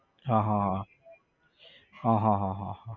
હા હા હા હા હા હા હા